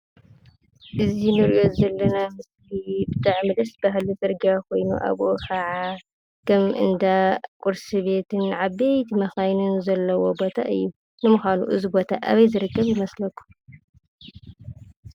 እዚ እንሪኦ ዘለና ምሰሊ ብጣዕሚ ደስ... በሃሊ ፅርግያ ኾይኑ፤ አብኡ ኸዓ ከም እንዳ ቁርሲ ቤትን ዓበይቲ መኻይንን ዘለዎ ቦታ እዩ፡፡ ንምዃኑ እዚ ቦታ አበይ ዝርከብ ይመስለኩም?